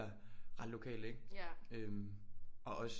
Ret lokalt ikke øh og også